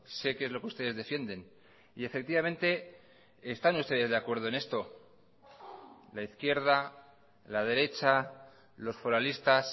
sé qué es lo que ustedes defienden y efectivamente están ustedes de acuerdo en esto la izquierda la derecha los foralistas